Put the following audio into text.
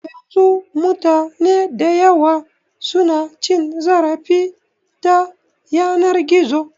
Yanzu mutane dayawa su na cin zarafi ta yanar gizo